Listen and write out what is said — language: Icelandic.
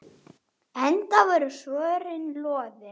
Heldur voru svörin loðin.